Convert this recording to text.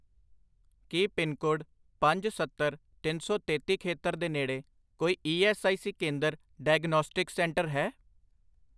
ਕੀ pin code ਪੰਜ, ਸੱਤਰ, ਤਿੰਨ ਸੌ ਤੇਤੀ ਖੇਤਰ ਦੇ ਨੇੜੇ ਕੋਈ ਈ ਐੱਸ ਆਈ ਸੀ ਕੇਂਦਰ ਡਾਇਗਨੌਸਟਿਕਸ ਸੈਂਟਰ ਹੈ?